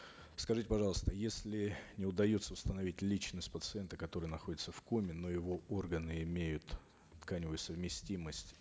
скажите пожалуйста если не удается установить личность пациента который находится в коме но его органы имеют тканевую совместимость